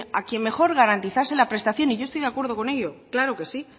a quien mejor garantizase la prestación y yo estoy de acuerdo con ello claro que sí